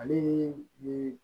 Ale ni